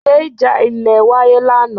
Ṣé ìjà ilẹ̀ wáyé lánàá?